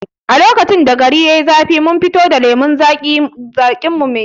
A lokacin da gari yai zafi mun fito da lemon zaƙin mu mai sanyi muka shanye